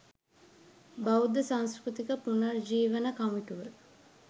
බෞද්ධ සංස්කෘතික පුනරජීවන කමිටුව